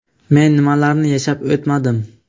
Men nimalarni yashab o‘tmadim.